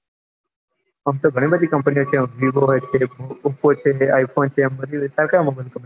આમતો ગણી બધી companyvivooppoi phone તારે કયો mobile જોઈએ